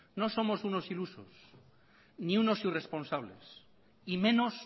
no somos unos ilusos ni unos irresponsables y menos